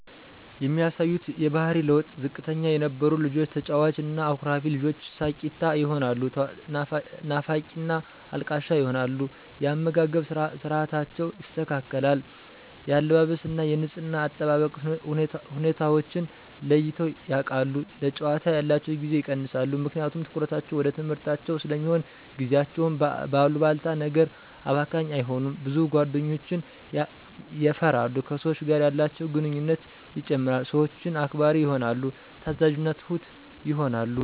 የሚያሳዩት የባሕሪ ለዉጥ፦ ዝምተኛ የነበሩ ልጆች ተጫዋች እና አኩራፊ ልጆች ሳቂታ ይሆናሉ ናፋቂና አልቃሻ ይሆናሉ። የአመጋገብ ስርዓታቸው ይስተካከል፣ የአለባበስ እና የንጽሕና አጠባበቅ ሁኔታወችን ለይተዉ ያቃሉ፣ ለጫወታ ያላቸዉን ጊዜ ይቀንሳሉ ምክንያቱም ትኩረታቸዉ ወደ ትምሕርታቸዉ ስለሚሆን፣ ጊዜያቸዉን በአሉባልታ ነገር አባካኝ አይሆኑም፣ ብዙ ጓደኞችን የፈራሉ፣ ከሰወች ጋር ያላቸውን ግንኙነት ይጨምራል፣ ሰወችን አክባሪ ይሆናሉ፣ ታዛዥና ትሁት ይሆናሉ።